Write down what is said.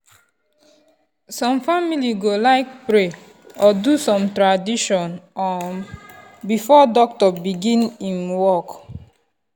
some family go like pray or do some tradition um before doctor begin do en work.